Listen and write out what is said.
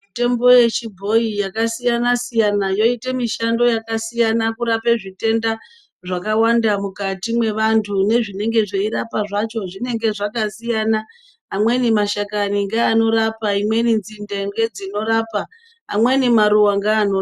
Mitombo yechibhoyi yakasiyana-siyana yoite mishando yakasiyana kurape zvitenda zvakawanda mukati mwevantu. Nezvinenge zveirapa zvacho zvinenge zvakasiyana. Amweni mashakani ngeanorapa, imweni nzinde ngedzinorapa amweni maruva ngeano...